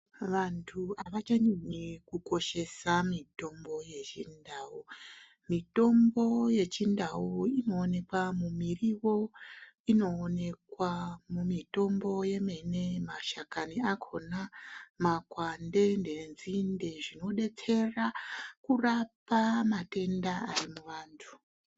Vanhu avachanyanyi kukoshesa mitombo yechindau. Mitombo yechindau inoonekwa mumiriwo, inoonekwa mumitombo yemene, mashakani akhona, makwande nenzinde zvinodetsera, kurapa matenda ari muvantu